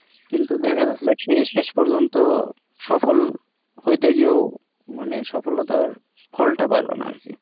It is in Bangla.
কিন্তু দেখেন তো সেই শেষ পর্যন্ত সফল হইতে গিয়েও মানে সফলতার ফলটা পাইলো না আরকি